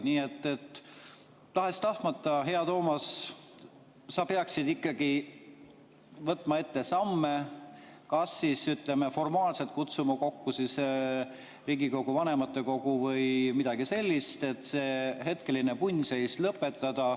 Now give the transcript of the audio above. Nii et tahes-tahtmata, hea Toomas, sa peaksid ikkagi võtma ette samme, kas formaalselt kutsuma kokku Riigikogu vanematekogu või midagi sellist, et see hetkeline punnseis lõpetada.